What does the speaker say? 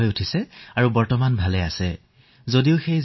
দেহত ভাইৰাছ থকা স্বত্বেও তেওঁলোকে সুস্থিৰে আছে আৰু আৰোগ্য লাভ কৰিবলৈ ধৰিছে